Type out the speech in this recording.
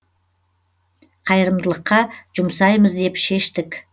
қайырымдылыққа жұмсаймыз деп шештік